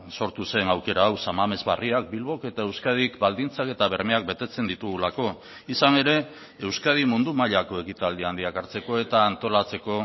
sortu zen aukera hau san mames berriak bilbok eta euskadik baldintzak eta bermeak betetzen ditugulako izan ere euskadi mundu mailako ekitaldi handiak hartzeko eta antolatzeko